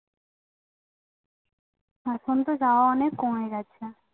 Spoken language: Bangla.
এখনতো যাওয়া অনেক কমে গেছে